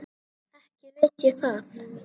Ekki veit ég það.